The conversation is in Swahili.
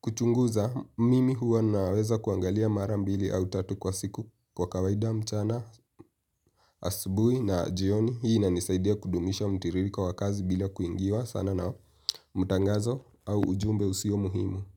kuchunguza mimi huwa naweza kuangalia mara mbili au tatu kwa siku kwa kawaida mchana asubui na jioni hii ina nisaidia kudumisha mtiririko wa kazi bila kuingiwa sana na mutangazo au ujumbe husio muhimu.